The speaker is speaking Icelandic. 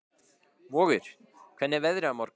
Vogur, hvernig er veðrið á morgun?